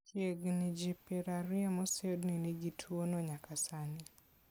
Chiegni ji piero ario moseyudi ni nigi tuo no nyaka sani .